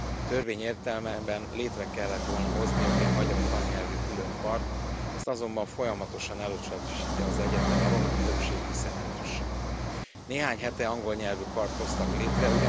A törvény értelmében létre kellett volna hozniuk egy magyar tannyelvű külön kart, ezt azonban folyamatosan elutasítja az egyetem román többségű szenátusa. Néhány hete angol nyelvű kart hoztak létre.